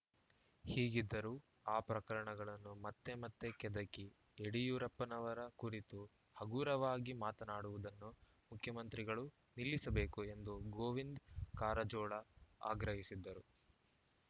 ಹೀಗಿದ್ದರೂ ಆ ಪ್ರಕರಣಗಳನ್ನು ಮತ್ತೆ ಮತ್ತೆ ಕೆದಕಿ ಯಡಿಯೂರಪ್ಪನವರ ಕುರಿತು ಹಗುರವಾಗಿ ಮಾತನಾಡುವುದನ್ನು ಮುಖ್ಯಮಂತ್ರಿಗಳು ನಿಲ್ಲಿಸಬೇಕು ಎಂದು ಗೋವಿಂದ ಕಾರಜೋಳ ಆಗ್ರಹಿಸಿದರು